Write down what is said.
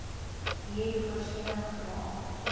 hier voorsiening gemaak